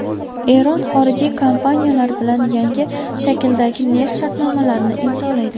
Eron xorijiy kompaniyalar bilan yangi shakldagi neft shartnomalarini imzolaydi.